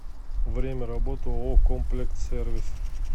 время работы ооо комплектсервис